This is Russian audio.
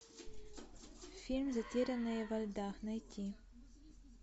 фильм затерянные во льдах найти